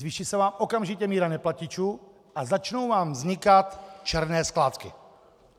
Zvýší se vám okamžitě míra neplatičů a začnou vám vznikat černé skládky.